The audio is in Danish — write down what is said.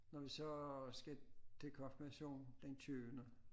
Når vi så skal til konfirmation den tyvende